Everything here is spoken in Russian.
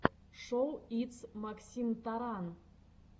шоу итс максимтаран